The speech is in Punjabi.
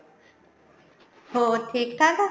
ਹੋਰ ਠੀਕ ਠਾਕ